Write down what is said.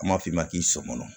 An b'a f'i ma k'i somɔnɔ